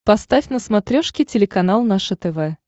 поставь на смотрешке телеканал наше тв